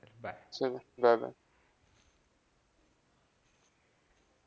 चला, bye, bye